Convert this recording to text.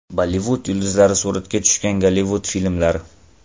Bollivud yulduzlari suratga tushgan Gollivud filmlari.